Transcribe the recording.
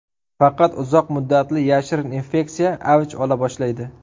Faqat uzoq muddatli, yashirin infeksiya avj ola boshlaydi.